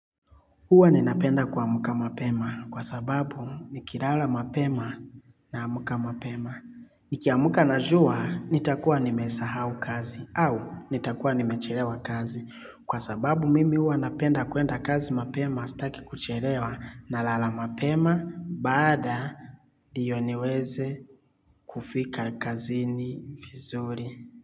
Huwa ninapenda kuamka mapema kwa sababu nikilala mapema na amka mapema. Nikiamka na jua nitakuwa nimesahau kazi au nitakuwa nimechelewa kazi. Kwa sababu mimi huwa napenda kwenda kazi mapema, staki kuchelewa na lala mapema baada ndio niweze kufika kazini vizuri.